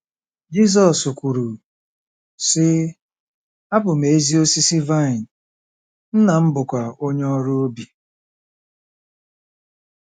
Jizọs kwuru, sị: “ Abụ m ezi osisi vaịn, Nna m bụkwa onye ọrụ ubi.